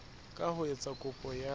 ka ho etsa kopo ya